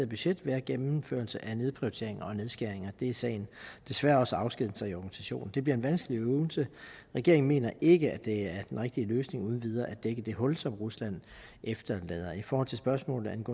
budget være gennemførelse af nedprioriteringer og nedskæringer desværre desværre også afskedigelser i organisationen det bliver en vanskelig øvelse regeringen mener ikke at det er den rigtige løsning uden videre at dække det hul som rusland efterlader i forhold til spørgsmålet